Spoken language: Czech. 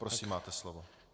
Prosím, máte slovo.